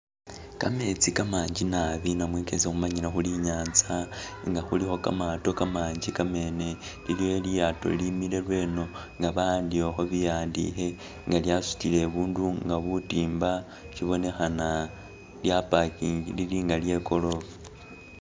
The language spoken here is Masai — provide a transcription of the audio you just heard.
Kametsi kamangi nabi namwe kesi khumanyile khuri i'nyaanza nga khulikho kamaato kamangi kamene, iliyo lilyaato ilimile lweno nga bahandikhakho bihandike nga lyasutile bundu nga butimba sibonekhana lya parkingle lili nga lye korofa.